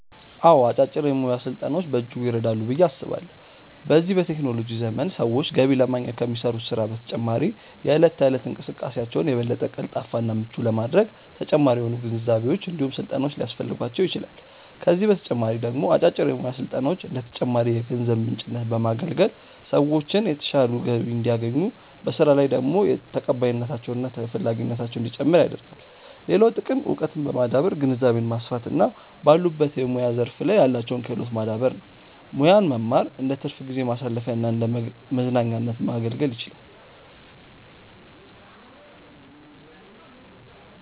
አዎ አጫጭር የሙያ ስልጠናዎች በእጅጉ ይረዳሉ ብዬ አስባለሁ። በዚህ በቴክኖሎጂ ዘመን ሰዎች ገቢ ለማግኘት ከሚሰሩት ስራ በተጨማሪ የእለት ተእለት እንቅስቃሴያቸውን የበለጠ ቀልጣፋ እና ምቹ ለማድረግ ተጨማሪ የሆኑ ግንዛቤዎች እንዲሁም ስልጠናዎች ሊያስፈልጓቸው ይችላል፤ ከዚህ በተጨማሪ ደግሞ አጫጭር የሙያ ስልጠናዎች እንደ ተጨማሪ የገቢ ምንጭነት በማገልገል ሰዎችን የተሻለ ገቢ እንዲያገኙ፤ በስራ ቦታ ላይ ደግሞ ተቀባይነታቸው እና ተፈላጊነታቸው እንዲጨምር ያደርጋል። ሌላው ጥቅም እውቀትን በማዳበር ግንዛቤን ማስፋት እና ባሉበት የሙያ ዘርፍ ላይ ያላቸውን ክህሎት ማዳበር ነው። ሙያን መማር እንደትርፍ ጊዜ ማሳለፊያና እንደመዝናኛነት ማገልገል ይችላል።